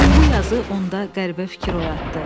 Bu yazı onda qəribə fikir oyatdı.